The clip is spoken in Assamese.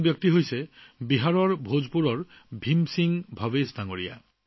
তেনে এজন ব্যক্তি হৈছে বিহাৰৰ ভোজপুৰৰ ভীম সিং ভৱেশ জী